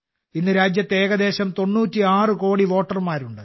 ഇന്ന് രാജ്യത്ത് ഏകദേശം 96 കോടി വോട്ടർമാരുണ്ട്